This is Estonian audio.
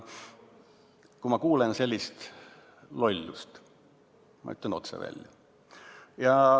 Kui ma kuulen sellist lollust, siis ma ütlen otse välja.